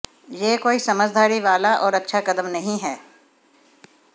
यह कोई समझदारी वाला और अच्छा कदम नहीं है